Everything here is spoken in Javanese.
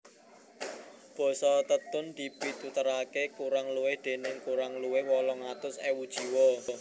Basa Tetun dipituturaké kurang luwih déning kurang luwih wolung atus ewu jiwa